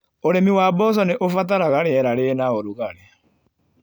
ũrĩmi wa mboco nĩ ũbataraga rĩera rĩna rugarĩ.